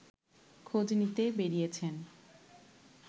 খোঁজ নিতে বেরিয়েছেন